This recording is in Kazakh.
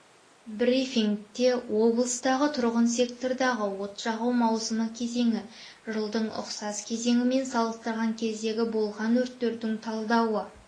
брифингте облыстағы тұрғын сектордағы от жағу маусымы кезеңі жылдың ұқсас кезеңімен салыстырған кездегі болған өрттердің талдауы